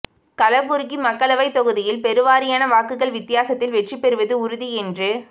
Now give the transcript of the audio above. கலபுர்கி மக்களவைத் தொகுதியில் பெருவாரியான வாக்குகள் வித்தியாசத்தில் வெற்றி பெறுவது உறுதி என்று